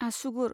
आसुगुर